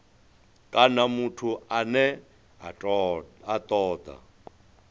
kana muthu ane a toda